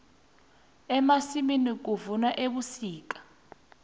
emasimini kuvunwa ebusika